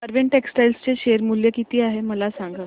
Arvind textile चे share मूल्य किती आहे मला सांगा